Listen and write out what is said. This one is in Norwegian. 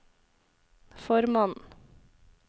formannen